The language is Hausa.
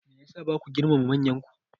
Me ya sa ba ku girmama manyanku?